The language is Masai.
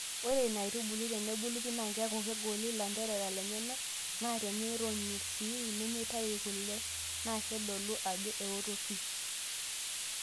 Ore ina aitubului tenebulu pi naa keaku kegoli ilanterera lenyana naa tenironyi sii nemeitayu kule naa keitodolu Ajo ewoto pi.